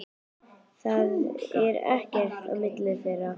Það er ekkert á milli þeirra.